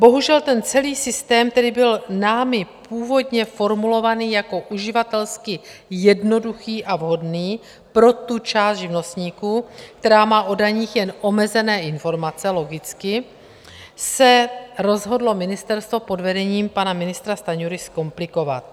Bohužel, ten celý systém - tedy byl námi původně formulovaný jako uživatelsky jednoduchý a vhodný pro tu část živnostníků, která má o daních jen omezené informace, logicky - se rozhodlo ministerstvo pod vedením pana ministra Stanjury zkomplikovat.